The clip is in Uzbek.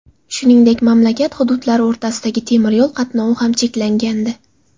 Shuningdek, mamlakat hududlari o‘rtasidagi temiryo‘l qatnovi ham cheklangandi.